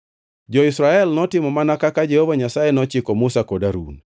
Jo-Israel notimo mana kaka Jehova Nyasaye nochiko Musa kod Harun.